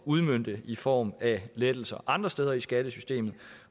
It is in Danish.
udmønte i form af lettelser andre steder i skattesystemet